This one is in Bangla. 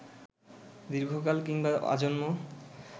দীর্ঘকাল কিংবা আজন্ম